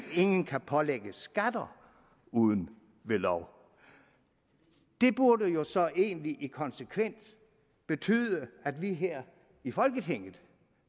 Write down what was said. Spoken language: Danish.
ingen kan pålægges skatter uden ved lov det burde jo så egentlig i konsekvens betyde at vi her i folketinget